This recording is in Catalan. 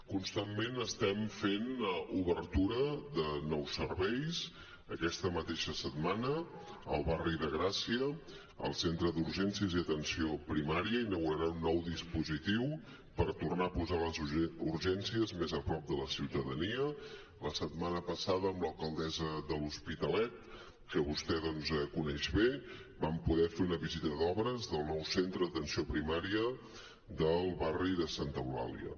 constantment estem fent obertura de nous serveis aquesta mateixa setmana al barri de gràcia el centre d’urgències i atenció primària inaugurarà un nou dispositiu per tornar a posar les urgències més a prop de la ciutadania la setmana passada amb l’alcaldessa de l’hospitalet que vostè doncs coneix bé vam poder fer una visita d’obres del nou centre d’atenció primària del barri de santa eulàlia